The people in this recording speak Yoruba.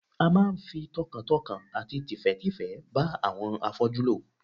A máa ń fi tọkàntọkàn àti tìfẹ́tìfẹ́ bá àwọn afọ́jú lò